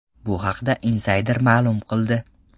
Bu haqda Insider ma’lum qildi .